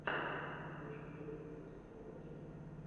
включи первый выпуск кокатьюб